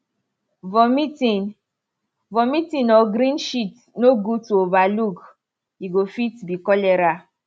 vomiting vomiting or green shit no good to over look e go fit be cholera